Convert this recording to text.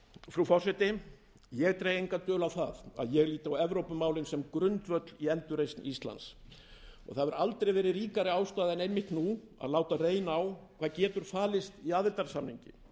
frú forseti ég dreg enga dul á að ég lít á evrópumálin sem grundvöll í endurreisn íslands það hefur aldrei verið ríkari ástæða en einmitt nú að láta reyna á hvað falist getur í aðildarsamningi